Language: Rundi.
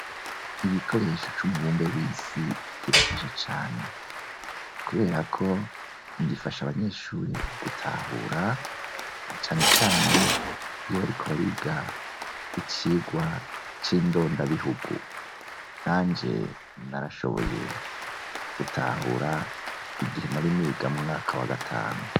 Igikoresho c'umubumbe w'isi kirafasha cane kubera ko gifasha abanyeshuri gutahura cane cane iyo barikubariga icigwa c'indondabihugu nanjye narashoboye gutahura igihe nari niga mu mwaka wa gatanu.